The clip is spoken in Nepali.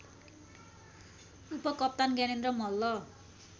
उपकप्तान ज्ञानेन्द्र मल्ल